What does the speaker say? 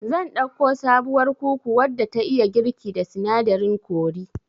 Zan ɗauko sabuwar kuku wadda ta iya girki da sinadarin kori